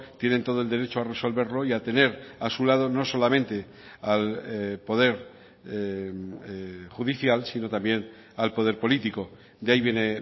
tienen todo el derecho a resolverlo hoy y a tener a su lado no solamente al poder judicial sino también al poder político de ahí viene